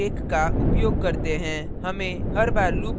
हमें हर बार loop को break करने की आवश्यकता होती है